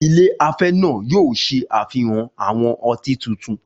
Ilé afẹ́ náà yóò ṣe àfihàn àwọn ọtí tuntun